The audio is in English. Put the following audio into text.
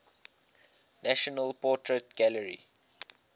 national portrait gallery